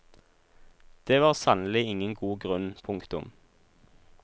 Det var sannelig ingen god grunn. punktum